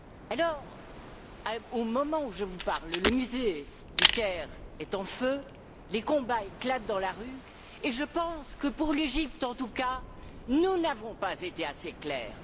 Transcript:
Alors, au moment où je vous parle, le musée du Caire est en feu, les combats éclatent dans la rue, et je pense que, pour l'Égypte en tout cas, nous n'avons pas été assez clairs.